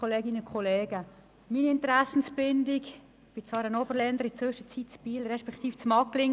Meine Interessenbindung – ich bin Seeland-Oberländerin, in der Zwischenzeit in Biel und in Magglingen.